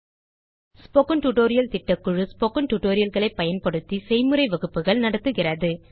spoken tutorial திட்டக்குழு spoken tutorial களை பயன்படுத்தி செய்முறை வகுப்புகள் நடத்துகிறது